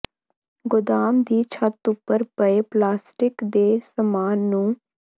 ਗੋਦਾਮ ਦੀ ਛੱਤ ਉਪਰ ਪਏ ਪਲਾਸਸਿਟ ਦੇ ਸਮਾਨ ਨੂੰ